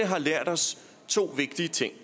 har lært os to vigtige ting